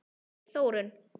segir Þórunn.